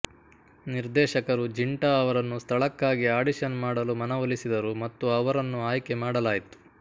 ನಿರ್ದೇಶಕರು ಜಿಂಟಾ ಅವರನ್ನು ಸ್ಥಳಕ್ಕಾಗಿ ಆಡಿಷನ್ ಮಾಡಲು ಮನವೊಲಿಸಿದರು ಮತ್ತು ಅವರನ್ನು ಆಯ್ಕೆ ಮಾಡಲಾಯಿತು